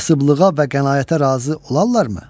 Kasıblığa və qənaətə razı olarlarmı?